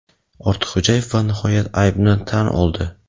Ortiqxo‘jaev va nihoyat aybini tan oldi.